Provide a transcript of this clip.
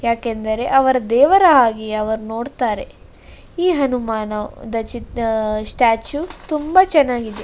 ಯಾಕೆಂದರೆ ಅವರ ದೇವರ ಹಾಗೆ ಅವರ್ ನೋಡುತ್ತಾರೆ. ಈ ಹನುಮಾನ ದ ಚಿತ್ ಆ ಸ್ಟ್ಯಾಚು ತುಂಬಾ ಚನ್ನಾಗಿದೆ.